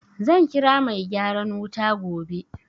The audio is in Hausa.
Zan kira mai gyaran wuta gobe.